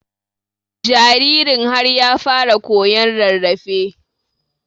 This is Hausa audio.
jaririn har ya fara koyan rarrafe